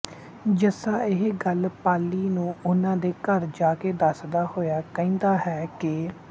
ਜੱਸਾ ਇਹ ਗੱਲ ਪਾਲੀ ਨੂੰ ਉਨ੍ਹਾਂ ਦੇ ਘਰ ਜਾ ਕੇ ਦੱਸਦਾ ਹੋਇਆ ਕਹਿੰਦਾ ਹੈ ਕਿ